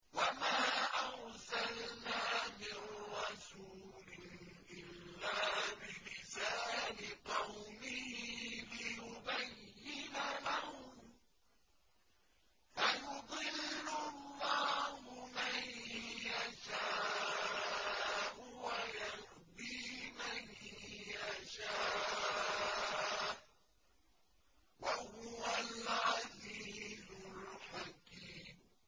وَمَا أَرْسَلْنَا مِن رَّسُولٍ إِلَّا بِلِسَانِ قَوْمِهِ لِيُبَيِّنَ لَهُمْ ۖ فَيُضِلُّ اللَّهُ مَن يَشَاءُ وَيَهْدِي مَن يَشَاءُ ۚ وَهُوَ الْعَزِيزُ الْحَكِيمُ